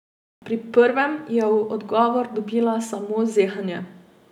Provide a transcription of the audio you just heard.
Pri prvem je v odgovor dobila samo zehanje.